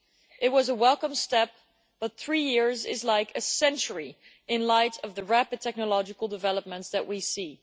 It was a welcome step, but three years is like a century in light of the rapid technological developments that we see.